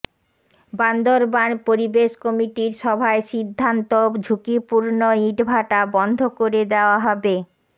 বান্দরবান পরিবেশ কমিটির সভায় সিদ্ধান্ত ঝুঁকিপূর্ণ ইটভাটা বন্ধ করে দেওয়া হবে